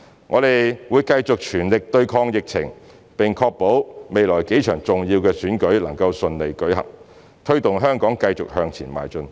我們會繼續全力對抗疫情，並確保未來幾場重要的選舉能夠順利舉行，推動香港繼續向前邁進。